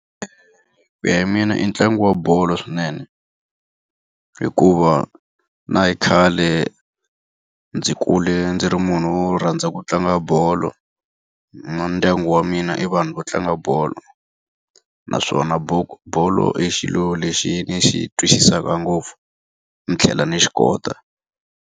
Ku ya hi mina i ntlangu wa bolo swinene. Hikuva na hi khale ndzi kule ndzi ri munhu wo rhandza ku tlanga bolo, na ndyangu wa mina i vanhu va tlanga bolo. Naswona bolo i xilo lexi ni xi twisisaka ngopfu ni tlhela ni xi kota.